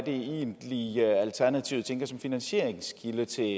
egentlig alternativet tænker som finansieringskilde til